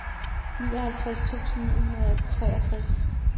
nioghalvtreds tusind ni hundrede og treogtres